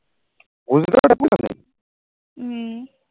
হম